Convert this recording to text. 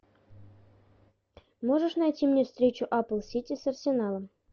можешь найти мне встречу апл сити с арсеналом